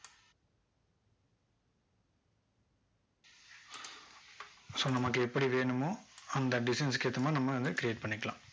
so நமக்கு எப்படி வேணுமோ அந்த designs க்கு ஏத்த மாதிரி நம்ம அதை create பண்ணிக்கலாம்